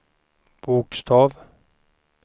bokstav